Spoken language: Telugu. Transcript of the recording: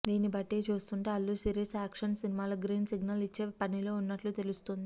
దీన్ని బట్టి చూస్తుంటే అల్లు శిరీష్ యాక్షన్ సినిమాలకు గ్రీన్ సిగ్నల్ ఇచ్చే పనిలో ఉన్నట్లు తెలుస్తోంది